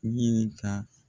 Ɲininka.